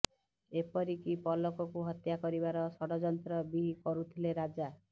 ଏପରିକି ପଲକକୁ ହତ୍ୟା କରିବାର ଷଡ଼ଯନ୍ତ୍ର ବି କରୁଥିଲେ ରାଜା